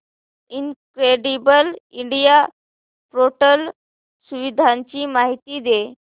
incredible India portal सुविधांची माहिती दे